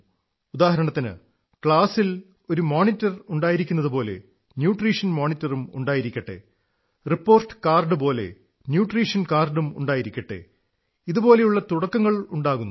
ഉദാഹരണത്തിന് ക്ലാസിൽ ഒരു മോനിട്ടർ ഉണ്ടായിരിക്കുന്നതുപോലെ ന്യൂട്രീഷൻ മോണിറ്ററും ഉണ്ടായിരിക്കട്ടെ റിപ്പോർട്ട് കാർഡ് പോലെ ന്യൂട്രീഷൻ കാർഡും ഉണ്ടായിരിക്കട്ടെ ഇതുപോലുള്ള തുടക്കങ്ങളുണ്ടാകുന്നു